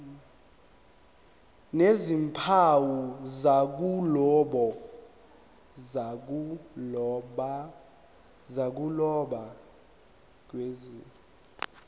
nezimpawu zokuloba kusetshenziswe